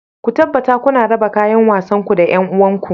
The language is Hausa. Ku tabbata kuna raba kayan wasanku da 'yan uwanku